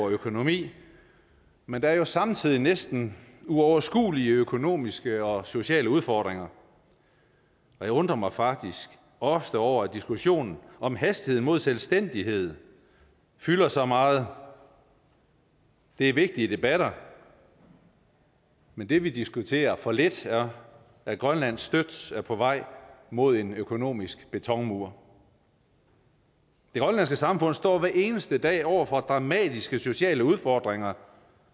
økonomi men der er samtidig næsten uoverskuelige økonomiske og sociale udfordringer og jeg undrer mig faktisk ofte over at diskussionen om hastigheden mod selvstændighed fylder så meget det er vigtige debatter men det vi diskuterer for lidt er at grønland støt er på vej mod en økonomisk betonmur det grønlandske samfund står hver eneste dag over for dramatiske sociale udfordringer